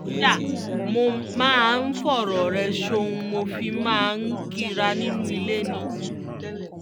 kódà mo máa ń fọ̀rọ̀ rẹ̀ sóun mo fi máa ń kínra nínú ilé ni